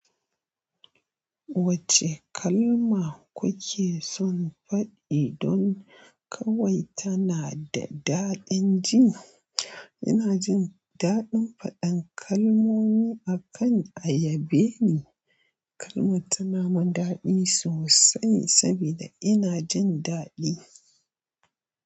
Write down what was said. Wacce kalma kuke son faɗi don kawai tana da daɗin ji? Ina jin daɗin faɗan kalmomi akan ayabe ni, kalmar tana man daɗi sosai sabida ina jin daɗi.